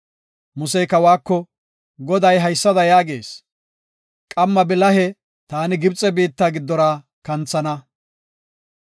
Musey kawako, “Goday haysada yaagees; ‘Qamma bilahe taani Gibxe biitta giddora kanthana.